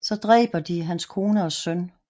Så dræber de hans kone og søn